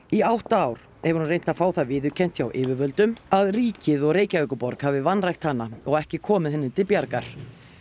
í átta ár hefur hún reynt að fá það viðurkennt hjá yfirvöldum að ríkið og Reykjavíkurborg hafi vanrækt hana og ekki komið henni til bjargar